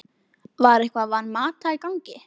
Var eitthvað Van Mata í gangi?